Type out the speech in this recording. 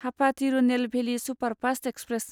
Hapa Tirunelveli superfast express